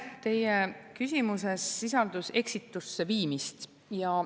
Teie küsimuses sisaldus eksitusse viimist.